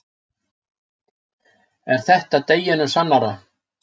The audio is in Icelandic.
En þetta er deginum sannara.